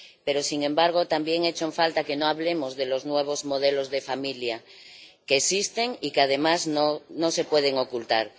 Pero, sin embargo, también echo en falta que no hablemos de los nuevos modelos de familia que existen y que además no se pueden ocultar.